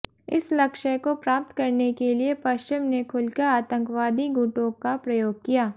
इस लक्ष्य को प्राप्त करने के लिए पश्चिम ने खुलकर आतंकवादी गुटों का प्रयोग किया